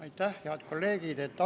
Aitäh, head kolleegid!